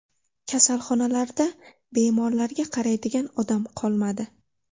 Kasalxonalarda bemorlarga qaraydigan odam qolmadi.